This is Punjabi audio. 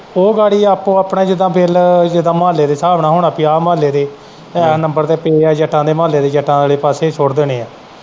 ਉਹ ਗਾੜੀ ਆਪੋ ਆ ਪਣਾ ਜਿੱਦਾਂ ਬਿਲ ਜਿੱਦਾਂ ਮਹੁੱਲੇ ਦੇ ਸਾਬ ਨਾਲ ਹੁਣ ਅਸੀਂ ਆਹ ਮਹੁੱਲੇ ਦੇ ਨੰਬਰ ਤੇ ਪਏ ਹੈ ਜੱਟਾਂ ਦੇ ਮਹੁੱਲੇ ਤੇ ਜੱਟਾਂ ਆਲੇ ਪਾਸੇ ਸੁੱਟ ਦੇਣੇ ਹੈ।